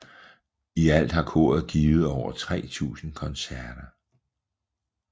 I alt har koret givet over 3000 koncerter